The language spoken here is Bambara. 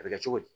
A bɛ kɛ cogo di